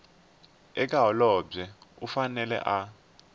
eka holobye u fanele a